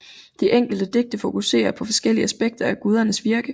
De enkelte digte fokuserer på forskellige aspekter af gudernes virke